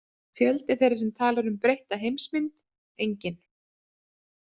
Fjöldi þeirra sem talar um „breytta heimsmynd“: enginn.